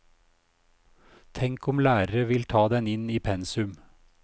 Tenk om lærere vil ta den inn i pensum.